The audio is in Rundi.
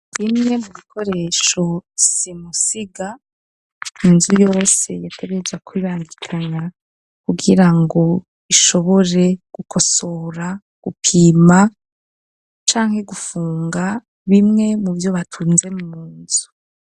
Bimwe mu bikoresho simusiga inzu yose yatebeja kwibandikanya kubwira ngo ishobore gukosora gupima cange gufunga bimwe mu byo batunze mu nzu.